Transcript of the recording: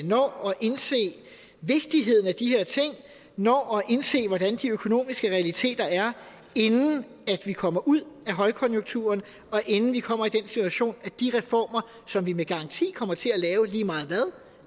når at indse vigtigheden af de her ting når at indse hvordan de økonomiske realiteter er inden vi kommer ud af højkonjunkturen og inden vi kommer i den situation at de reformer som vi med garanti kommer til at lave lige meget hvad